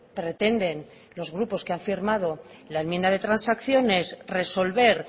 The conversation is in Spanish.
pretenden los grupos que han firmado la enmienda de transacción es resolver